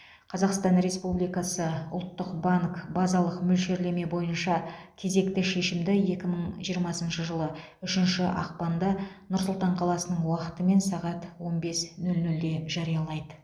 қазақстан республикасы ұлттық банк базалық мөлшерлеме бойынша кезекті шешімді екі мың жиырмасыншы жылы ұшінші ақпанда нұр сұлтан қаласының уақытымен сағат он бес нөл нөлде жариялайды